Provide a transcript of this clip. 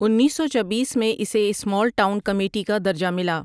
انیس سو چبیس میں اسے سمال ٹاؤن کمیٹی کا درجہ ملا ۔